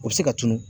U bɛ se ka tunun